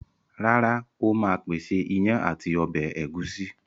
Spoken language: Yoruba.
Rárá, Ó ma pèsè iyán ati ọbẹ̀ ẹ̀gúsí